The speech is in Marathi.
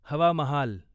हवा महाल